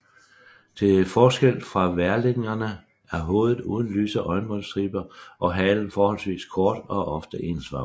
Til forskel fra værlingerne er hovedet uden lyse øjenbrynsstriber og halen forholdsvis kort og ofte ensfarvet